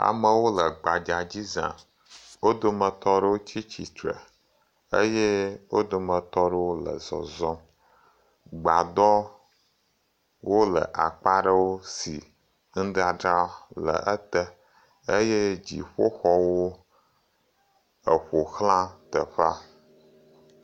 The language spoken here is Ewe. Amewo le gbadza dzi za wo dometɔ aɖewo tsitre eye wo dometɔ aɖewo le zɔzɔm, gbadɔwo le akpa aɖewo si nudadra le ete eye dziƒoxɔwo eƒoxla teƒea.